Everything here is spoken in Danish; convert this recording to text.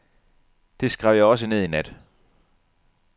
Det skrev jeg også ned i nat.